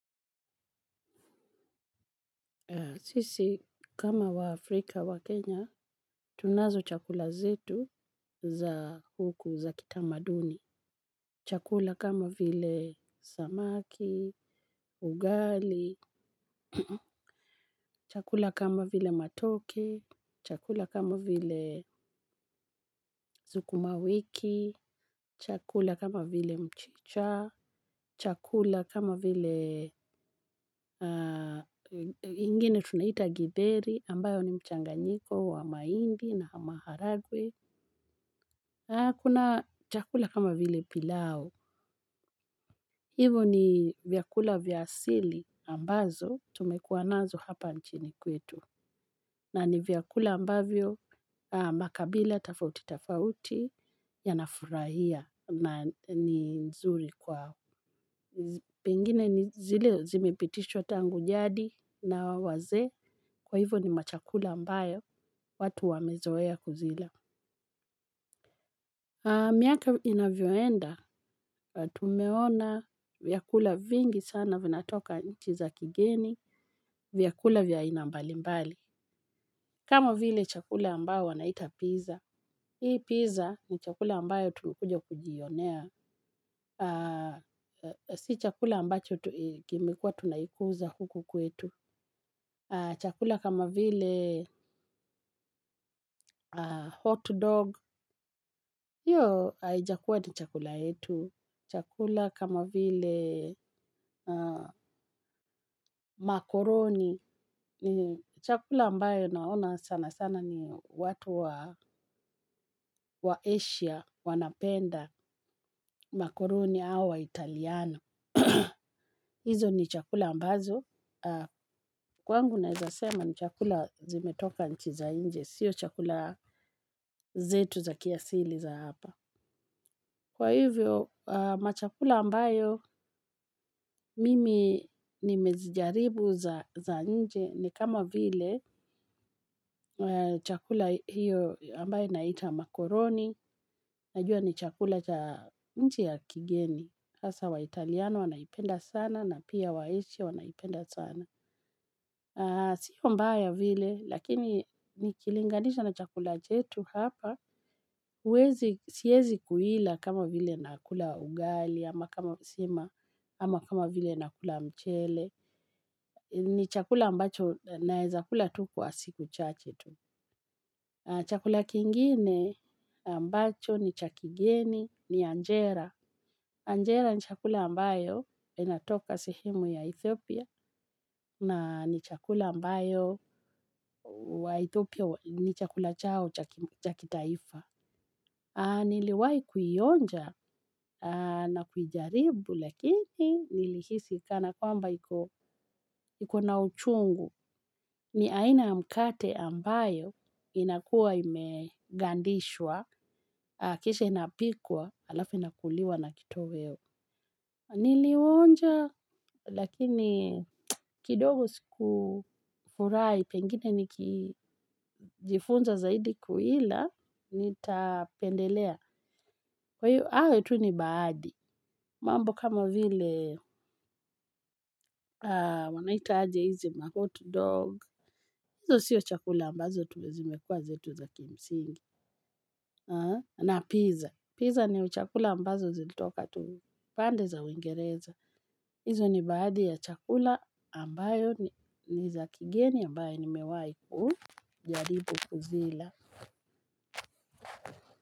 Sisi, kama wa Afrika wa Kenya, tunazo chakula zetu za huku za kitamaduni. Chakula kama vile samaki, ugali, chakula kama vile matoke, chakula kama vile sukumawiki, chakula kama vile mchicha, chakula kama vile ingine tunaita githeyri ambayo ni mchanganyiko wa mahindi na maharagwe. Kuna chakula kama vile pilau. Hivo ni vyakula vya asili ambazo tumekuwa nazo hapa nchini kwetu. Na ni vyakula ambavyo makabila, tofauti, tofauti, yanafurahia na nzuri kwa huu. Pengine ni zile zimepitishwa tangu jadi na wazee kwa hivyo ni machakula ambayo watu wamezoea kuzila. Miaka inavyoenda, tumeona vyakula vingi sana vinatoka nchi za kigeni, vyakula vya aina mbali mbali. Kama vile chakula ambao wanaita pizza, hii pizza ni chakula ambayo tumekuja kujionea, sii chakula ambacho kimekuwa tunaikuza huku kwetu. Chakula kama vile hot dog, hiyo haijakuwa ni chakula hetu. Chakula kama vile makoroni, ni chakula ambayo naona sana sana ni watu wa Asia wanapenda makoroni au wa Italiano. Hizo ni chakula ambazo kwangu naeza sema ni chakula zimetoka nchi za nje. Sio chakula zetu za kiasili za hapa. Kwa hivyo machakula ambayo mimi nimezijaribu za nje. Ni kama vile chakula hiyo ambayo naita makoroni. Najua ni chakula cha nchi ya kigeni hasa wa italiano wanaipenda sana na pia wa asia wanaipenda sana. Sio mbaya vile, lakini nikilinganisha na chakula chetu hapa, siwezi kuila kama vile nakula ugali, ama kama sima, ama kama vile nakula mchele, ni chakula ambacho naeza kula tu kwa siku chache tu. Chakula kingine ambacho ni cha kigeni ni Anjera. Anjera ni chakula ambayo inatoka sehemu ya Ethiopia na ni chakula ambayo wa Ethiopia ni chakula chao cha kitaifa. Niliwai kuionja na kujaribu lakini nilihisi kana kwamba ikona uchungu ni aina ya mkate ambayo inakuwa imegandishwa kisha inapikwa alafu inakuliwa na kitoweo. Niliuwonja lakini kidogo siku furahi pengine niki jifunza zaidi kuila nitapendelea. Kwa hivyo hayo tu ni baadhi mambo kama vile wanaita aje hizi mahot dog hizo sio chakula ambazo zimekuwa zetu za kimsingi. Na pizza Pizza ni chakula ambazo zilitoka tu pande za uingereza hizo ni baadhi ya chakula ambayo ni za kigeni ambayo nimewai ku jaribu kuzila.